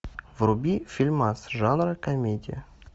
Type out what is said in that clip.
вруби фильмас жанра комедия